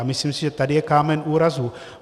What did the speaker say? A myslím si, že tady je kámen úrazu.